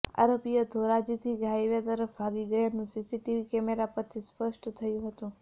આરોપીઓ ધોરાજીથી highway તરફ ભાગી ગયાનું સીસીટીવી કેમેરા પરથી સ્પષ્ટ થયું હતું